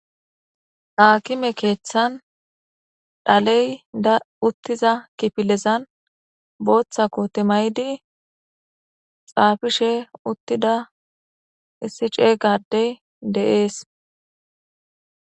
Akime kethani dhaleyi utiza kifilezani botha kote mayidi xafishe utida issi cegga adeyi deyesi